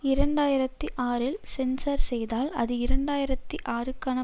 இரண்டு ஆயிரத்தி ஆறில் சென்ஸார் செய்தால் அது இரண்டு ஆயிரத்தி ஆறுக்கான